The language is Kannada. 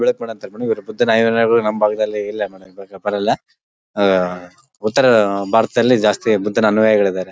ಬುದ್ಧನ ನಮ್ ಭಾಗ ದಲ್ಲಿ ಇಲ್ಲ ಇವಾಗ ಬರೋಲ್ಲ ಉತ್ತರ ಭಾರತದಲ್ಲಿ ಜಾಸ್ತಿ ಬುದ್ಧನ ಅನುಯಾಯಿ ಗಳಿದ್ದರೆ .